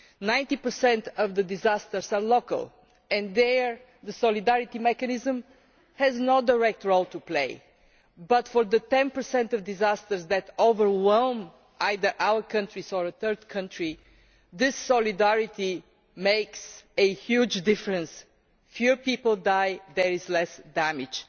90 of disasters are local, and there the solidarity mechanism has no direct role to play, but for the 10 of disasters that overwhelm either our countries or a third country, this solidarity makes a huge difference fewer people die and there is less damage.